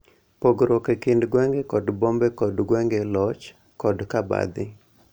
Pogruok e kind gwenge kod bombe kod gwenge, loch, kod cabadhi.